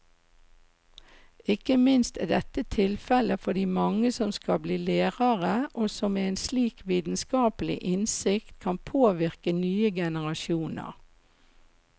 Ikke minst er dette tilfellet for de mange som skal bli lærere og som med en slik vitenskapelig innsikt kan påvirke nye generasjoner.